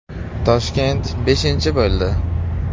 Toshkent beshinchi bo‘ldi.